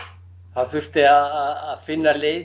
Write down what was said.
það þurfti að finna leið